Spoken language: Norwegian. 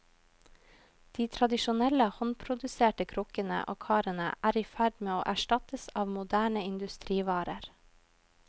De tradisjonelle håndproduserte krukkene og karene er i ferd med å erstattes av moderne industrivarer.